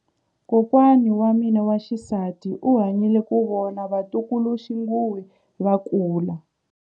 Kokwa wa mina wa xisati u hanyile ku vona vatukuluxinghuwe va kula.